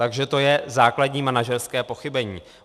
Takže to je základní manažerské pochybení.